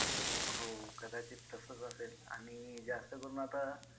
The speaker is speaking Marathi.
हो कदाचित तसंच असेल आणि जास्त करून आता